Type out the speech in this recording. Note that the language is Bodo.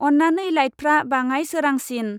अन्नानै लाइटफ्रा बाङाय सोरांसिन।